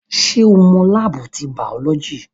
Ṣé o mọ láábù ti bàọ́lọ́jì?